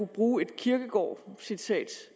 bruge et kierkegaardcitat